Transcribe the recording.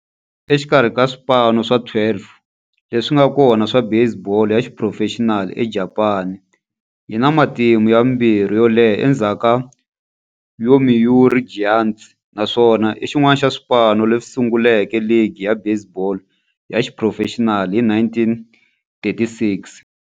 Exikarhi ka swipano swa 12 leswi nga kona swa baseball ya xiphurofexinali eJapani, yi na matimu ya vumbirhi yo leha endzhaku ka Yomiuri Giants, naswona i xin'wana xa swipano leswi sunguleke ligi ya baseball ya xiphurofexinali hi 1936.